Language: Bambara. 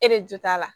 E de jo t'a la